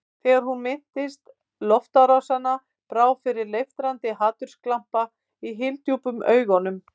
Þegar hún minntist loftárásanna brá fyrir leiftrandi hatursglampa í hyldjúpum augunum.